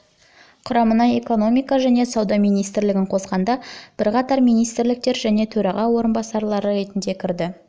құрамына экономика және сауда министрлігін қосқанда бірқатар министрліктер және төраға орынбасары ретінде кірді